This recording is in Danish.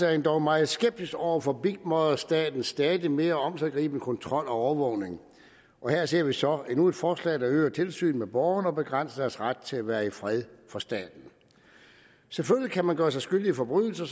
er endog meget skeptiske over for big mother statens stadig mere omsiggribende kontrol og overvågning og her ser vi så endnu et forslag der øger tilsynet med borgerne og begrænser deres ret til at være i fred for staten selvfølgelig kan man gøre sig skyldig i forbrydelser